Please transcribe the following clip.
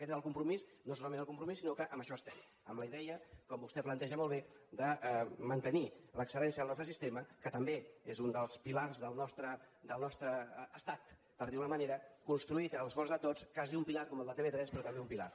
aquest és el compromís no solament el compromís sinó que en això estem amb la idea com vostè planteja molt bé de mantenir l’excel·lència del nostre sistema que també és un dels pilars del nostre estat per dir ho d’alguna manera construït amb l’esforç de tots quasi un pilar com el de tv3 però també un pilar